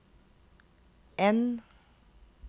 N